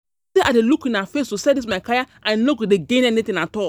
i dey look una face dey sell dis my kaya I no go dey gain anything at all